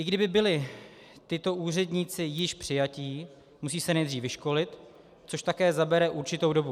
I kdyby byli tito úředníci již přijatí, musí se nejdřív vyškolit, což také zabere určitou dobu.